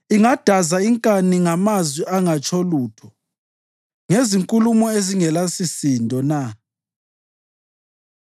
Ingadaza inkani ngamazwi angatsho lutho, ngezinkulumo ezingelasisindo na?